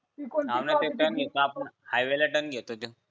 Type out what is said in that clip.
हवं न ते टर्न घेते ना आपण हायवे ला टर्न घेतो